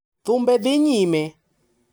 Thumbe dhi nyime.